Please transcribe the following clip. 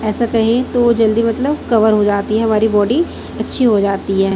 ऐसा कहें तो जल्दी मतलब कवर हो जाती है हमारी बॉडी अच्छी हो जाती है।